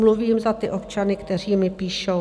Mluvím za ty občany, kteří mi píšou.